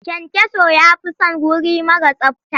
Kyankyaso ya fi son wuri mara tsabta.